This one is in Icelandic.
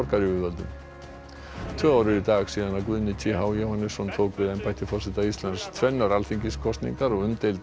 tvö ár eru í dag síðan Guðni t h Jóhannesson tók við embætti forseta Íslands tvennar alþingiskosningar og umdeild mál ásamt